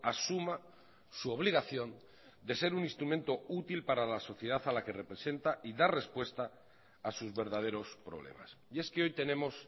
asuma su obligación de ser un instrumento útil para la sociedad a la que representa y dar respuesta a sus verdaderos problemas y es que hoy tenemos